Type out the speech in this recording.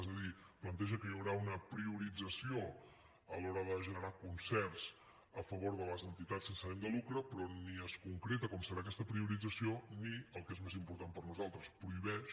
és a dir planteja que hi haurà una priorització a l’hora de generar concerts a favor de les entitats sense ànim de lucre però ni es concreta com serà aquesta priorització ni el que és més important per nosaltres prohibeix